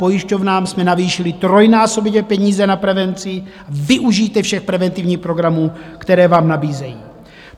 Pojišťovnám jsme navýšili trojnásobně peníze na prevenci, využijte všech preventivních programů, které vám nabízejí.